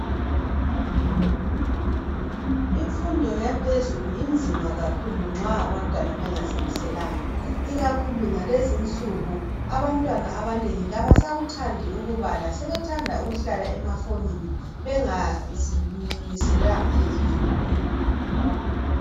Imfundo yaphezulu inzima kakhulu nxa abantwana bengazimiselanga ikakhulu ngalezinsuku abantwana abanengi kabasakuthandi ukubala sebethanda ukuhlala emafonini bengazilungiselelanga ezifundweni.